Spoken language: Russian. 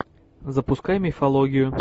запускай мифологию